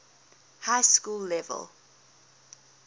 high school level